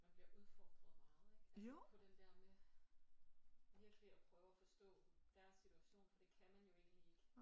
Man bliver udfordret meget ikke altså på den der med virkelig og prøve at forstå deres situation for det kan man jo egentlig ikke